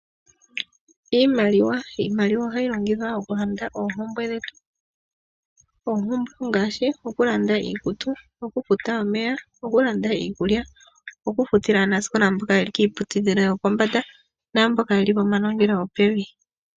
Iimaliwa. Iimaliwa ohayi longithwa okulanda oopumbwe dhetu. Oompumbwe ndhika ongaashi, okulanda iikutu, okufuta omeya, okulanda iikulya, okufutila aanasikola mboka ye li kiiputudhilo yo pombanda oshowo mboka yeli pomanongelo gopevi.